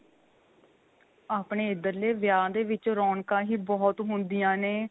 ਆਪਣੇ ਇੱਧਰਲੇ ਵਿਆਹ ਦੇ ਵਿੱਚ ਰੋਣਕਾਂ ਹੀ ਬਹੁਤ ਹੁੰਦੀਆ ਨੇ